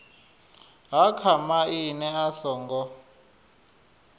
ha kha maimo a songo